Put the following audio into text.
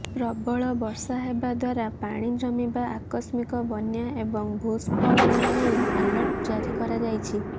ପ୍ରବଳ ବର୍ଷା ହେବା ଦ୍ୱାରା ପାଣି ଜମିବା ଆକସ୍ମିକ ବନ୍ୟା ଏବଂ ଭୂସ୍ଫଳନ ନେଇ ଆଲର୍ଟ ଜାରି କରାଯାଇଛି